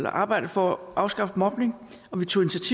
arbejdet for at afskaffe mobning og vi tog